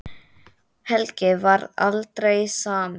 Helgi varð aldrei samur.